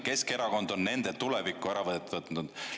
Keskerakond on nende tuleviku ära võtnud.